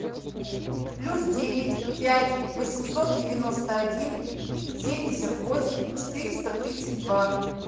плюс девять пять восемьсот девяносто один семьдесят восемь четыреста тридцать два